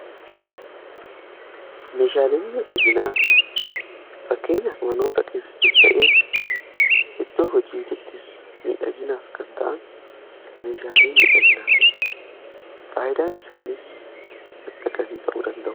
Meshaaleen miidhaginaa fakkeenyaaf manoota keessattis ta'ee iddoo hojiittis miidhaginaaf kan ta'an meeshaalee midhaginaati. Faayidaan isaaniis madda galii ta'uu danda'u.